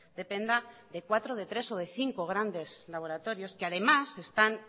dependa de cuatro de tres o de cinco grandes laboratorios que además se están